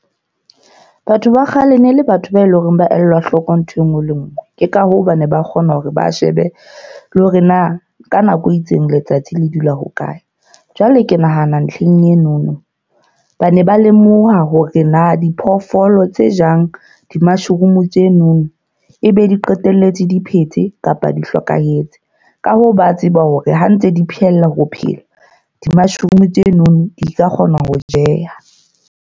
Batho ba kgale ne le batho ba eleng hore ba elwa hloko nthwe nngwe le e nngwe. Ke ka hoo ba ne ba kgona hore ba shebe le hore na ka nako e itseng letsatsi le dula ho kae. Jwale ke nahana ntlheng enono, ba ne ba lemoha hore na diphoofolo tse jang di-mushroom tsenono ebe di qetelletse di phetse kapa di hlokahetse. Ka hoo, ba tseba hore ha ntse di phehela ho phela, di-mushroom tseno di ka kgona ho jeha.